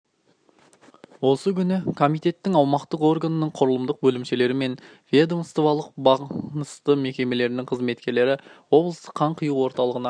осы күні комитетінің аумақтық органының құрылымдық бөлімшелері мен ведомстволық бағынысты мекемелерінің қызметкері облыстық қан құю орталығына